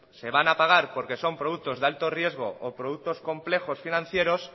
se van a pagar porque son productos de alto riesgo o productos complejos financieros